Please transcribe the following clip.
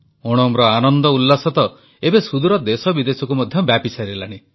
ଓଣମର ଆନନ୍ଦଉଲ୍ଲାସ ତ ଏବେ ସୁଦୂର ଦେଶବିଦେଶକୁ ମଧ୍ୟ ବ୍ୟାପିସାରିଲାଣି